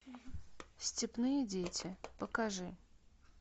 степные дети покажи